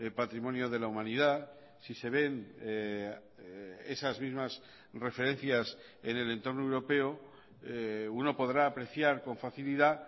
patrimonio de la humanidad si se ven esas mismas referencias en el entorno europeo uno podrá apreciar con facilidad